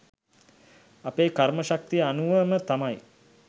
අපේ කර්ම ශක්තිය අනුවම තමයි.